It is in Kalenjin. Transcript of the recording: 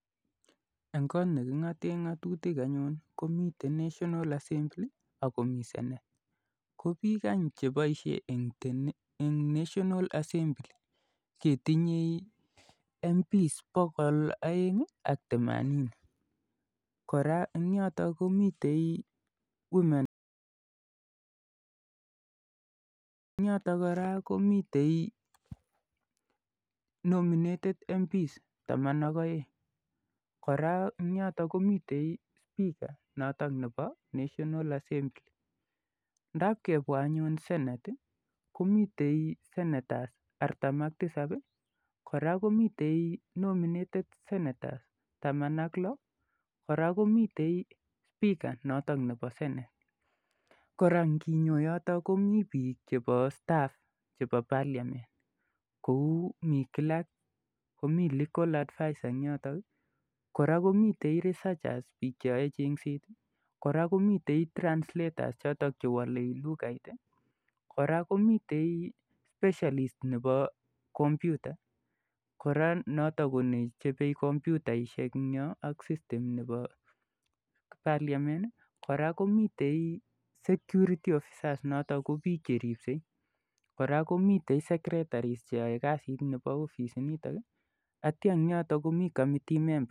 Eng' kot ne king'ate ng'atutik anyun ko miten NationalAl Assembly akp miten senate. Ko piik any che paishe eng' National Assembly ketinye anyun MPS pokol somol ak themanini. Kora eng' yotok kora komitei women rep , eng' yotok kora komitei nominated MPs taman ak aeng'. Kora eng' yotok kora komitei spika nepo national assembly .Ndapkepwa anyun Senate komitei (c nominated sentaors taman ak lo, kora komitei spika notok nepo Senate. Ngi yotok komi piik chepo staff chepo Parliament kou mi clerk ,komi legal advisors eng' yoton i, kora komitei researchers piik che yae cheng'set i, kora komitei translators chotok che wale lugait i. Kora komitei specialist nepo kompyutait , notok ko nechope komyutaishek eng' yo ak sistem nepo Parliament. Kora komitei Security officers notok ko piik che ripsei. Kora komi secretaries che yae kasit nepo ofisitinitok eng' yotok komitei committee members.